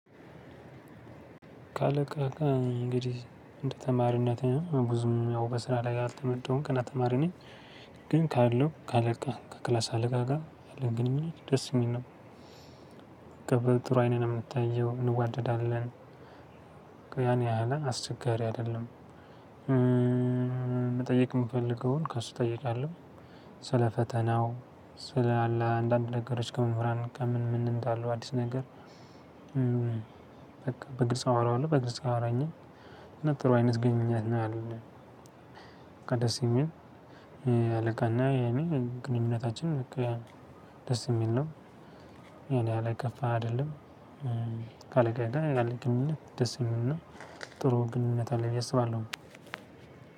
ካለቃ ጋር እንግዲህ እንደ ተማሪነቴ ብዙም ያው በስራ ላይ ያልተመደብሁም ገና ተማሪ ነኝ። ግን ካለው ከአለቃ ከክላስ አለቃ ጋር ያለን ግንኙነት ደስ የሚል ነው። ከብረን ጥሩ አይን ነው የምንተያየው እንዋደዳለን። ያን ያህል አስቸጋሪ አይደለም። መጠየቅ የምፈልገውን ከእሱ እጠይቃለሁ። ስለፈተናው ስለአንዳንድ ከመምህራን ከምን ምን እንዳለ አዲስ ነገር። በቃ በግጽ አወራዋለሁ በግልጽ ያወራኛል። በቃ ደስ የሚል ያለቃና የኔ ግንኙነታችን ደስ የሚል ነው። ያን ያህል የከፋ አይደለም። ካለቃዬ ጋር ያለኝ ግንኙነት ደስ የምልና ጥሩ ግንኙነት አለኝ ብዬ አስባለሁ።